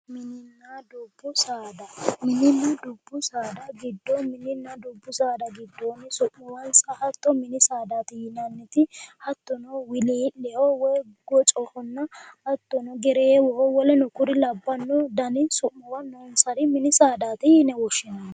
Mininna dubbu saada. Mininna dubbu saada giddo mininna dubbu saada giddoonni su'muwansa hatto mini saadaati yinanniti hattono wilii'lehonna hattono gocoho hattono gereewoho woleno kuri labbanno dani su'muwa noonsari mini saadaati yine woshshinanni.